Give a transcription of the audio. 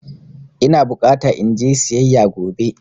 Ina bukata in je siyayya gobe.